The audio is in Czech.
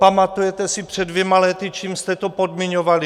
Pamatujete si před dvěma lety, čím jste to podmiňovali?